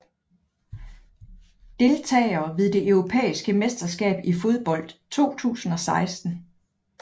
Deltagere ved det europæiske mesterskab i fodbold 2016